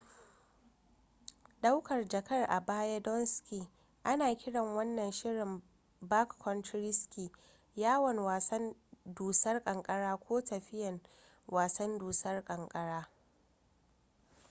daukar jaka a baya don ski ana kiran wannan shirin backcountry ski yawon wasan dusar kankara ko tafiyan wasan dusar kankara